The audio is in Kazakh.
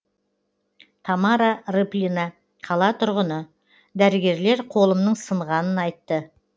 тамара рыплина қала тұрғыны дәрігерлер қолымның сынғанын айтты